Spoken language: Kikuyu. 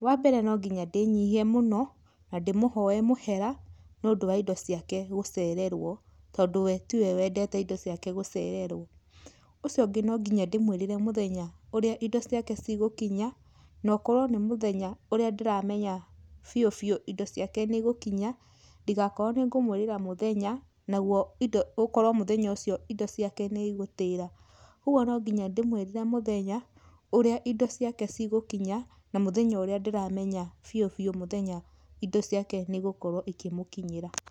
Wambere nonginya ndĩnyihie mũno na ndĩmũhoe mũhera nĩũndũ wa indo ciake gũcererwo tondũ we tiwe wendete indo ciake gũcererwo. Ũcio ũngĩ nonginya ndĩmwĩrĩre mũthenya ũrĩa indo ciake cigũkinya, nokorwo nĩ mũthenya ũrĩa ndĩramenya biũ biũ indo ciake nĩ igũkinya, ndĩgakorwo nĩ ngũmwĩrĩra mũthenya, nagwo indo, ũkorwo mũthenya ũcio indo ciake nĩ igũtĩra. Ũgwo nonginya ndĩmwĩrĩre mũthenya ũrĩa indo ciake cigũkinya na mũthenya ũrĩa ndĩramenya biũ biũ mũthenya indo ciake nĩ igũkorwo ikĩmũkinyĩra.